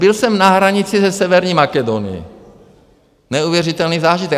Byl jsem na hranici se severní Makedonií, neuvěřitelný zážitek.